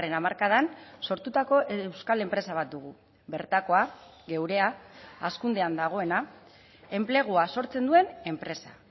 hamarkadan sortutako euskal enpresa bat dugu bertakoa geurea hazkundean dagoena enplegua sortzen duen enpresa